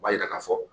O b'a yira k'a fɔ